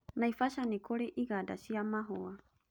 Naivasha nĩ kũrĩ iganda cia mahũa.